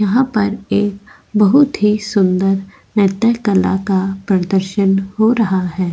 यहाँ पर एक बहुत ही सुंदर नृत्य कला का प्रदर्शन हो रहा है।